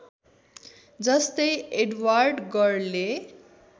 जस्तै एडवर्ड गरले